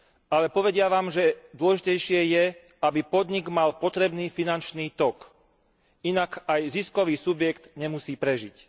Ale povedia vám, že dôležitejšie je, aby podnik mal potrebný finančný tok, inak aj ziskový subjekt nemusí prežiť.